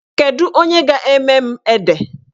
Kedu onye ga-eme m ede?